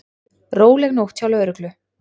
Róleg nótt hjá lögreglu